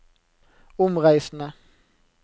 omreisende